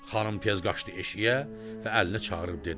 Xanım tez qaçdı eşiyə və Əlini çağırıb dedi: